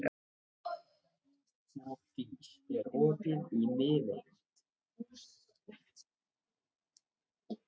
Hofdís, er opið í Miðeind?